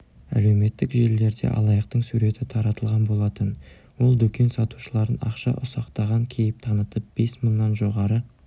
әлеуметтік желілерде алаяқтың суреті таратылған болатын ол дүкен сатушыларын ақша ұсақтаған кейіп танытып бес мыңнан жоғары